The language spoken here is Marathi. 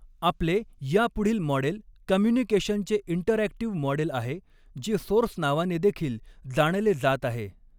आपले या पुढील मॉडेल कम्युनिकेशनचे इंटरऍक्टिव्ह मॉडेल आहे जे सोर्स नावाने देखील जाणले जात आहे.